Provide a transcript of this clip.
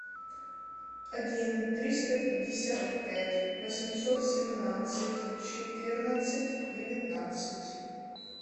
один триста пятьдесят пять восемьсот семнадцать четырнадцать девятнадцать